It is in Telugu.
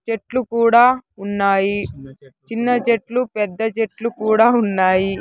చెట్లు కూడా ఉన్నాయి చిన్న చెట్లు పెద్ద చెట్లు కూడా ఉన్నాయి.